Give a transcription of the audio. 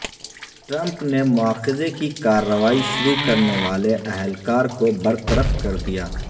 Trump نے مواخذے کی کارروائی شروع کرنے والے اہلکار کو برطرف کر دیا